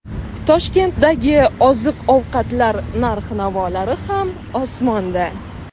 Toshkentdagi oziq-ovqatlar narx-navolari ham osmonda!